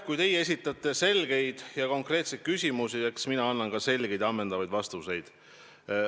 Kui teie esitate selgeid ja konkreetseid küsimusi, siis eks mina annan ka selgeid ja ammendavaid vastuseid.